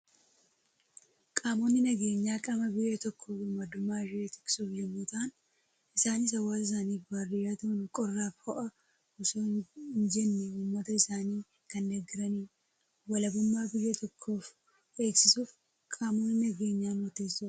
Qaamonni nageenyaa, qaama biyya tokkoo birmadummaa ishee tiksuuf yemmuu ta'an, isaanis hawaasa isaaniif waardiyyaa ta'uun qorraa fi ho'a osoon jenne uummata isaanii kan deeggaranidha. Walabummaa biyya tokkoo eegsisuuf qaamonni nageenyaa murteessoodha.